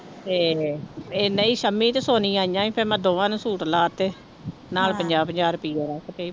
ਤੇ ਇਹ ਨਹੀਂ ਸੰਮੀ ਤੇ ਸੋਨੀ ਆਈਆਂ ਸੀ ਫਿਰ ਮੈਂ ਦੋਵਾਂ ਨੂੰ ਸੂਟ ਲਾ ਦਿੱਤੇ ਨਾਲ ਪੰਜਾਹ ਪੰਜਾਹ ਰੁਪਈਏ ਰੱਖ ਦਿੱਤੇੇ।